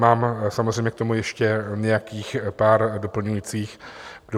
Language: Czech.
Mám samozřejmě k tomu ještě nějakých pár doplňujících dotazů.